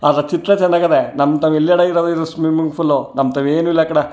ಅದ್ರ ಚಿತ್ರ ಚನ್ನಾಗದೆ ನಮ್ಮ್ ತವ್ ಎಲ್ಲಡೆ ಇರೋದ್ ಇದು ಸ್ವಿಮ್ಮಿಂಗ್ ಫುಲ್ ನಮ್ಮ್ ತವ್ ಏನು ಇಲ್ಲಾ ಕಡ್.